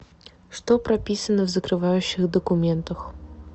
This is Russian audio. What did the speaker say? что прописано в закрывающих документах